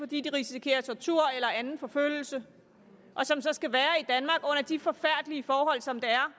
de risikerer tortur eller anden forfølgelse og som så skal være i de forfærdelige forhold som det er